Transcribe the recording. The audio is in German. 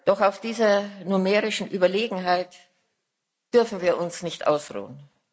Doch auf dieser numerischen Überlegenheit dürfen wir uns nicht ausruhen.